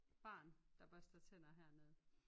Barn der børster tænder hernede